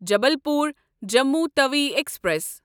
Jabalpur Jammu Tawi express